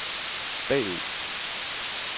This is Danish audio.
bagud